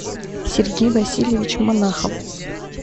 сергей васильевич монахов